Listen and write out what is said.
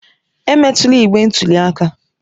Emetụla igbe ntụli aka